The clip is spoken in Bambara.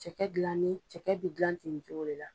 Cɛkɛ gilanni cɛkɛ bɛ gilan ten nin cogo le la.